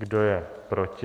Kdo je proti?